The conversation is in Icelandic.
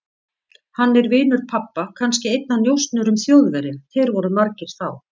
Hann er vinur pabba, kannski einn af njósnurum Þjóðverja, þeir voru margir þá.